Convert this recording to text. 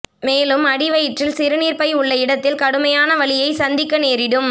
மேலும் அடிவயிற்றில் சிறுநீர்ப்பை உள்ள இடத்தில் கடுமையான வலியை சந்திக்க நேரிடும்